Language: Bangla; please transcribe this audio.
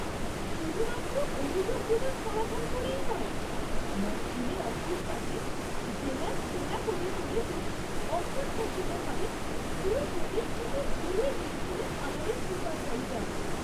শুধুমাত্র অভিযোগগুলোর সমাধান করেই নয়, মক্কেলের অফিসটাকে জেলার সেরা করে তুলে তো অপ্রত্যাশিতভাবে পুরো পরিস্থিতিই ঘুরিয়ে দিয়েছিলেন আমাদের সুপারভাইজার!